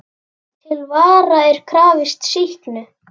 Til vara er krafist sýknu.